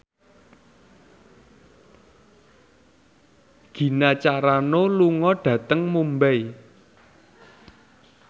Gina Carano lunga dhateng Mumbai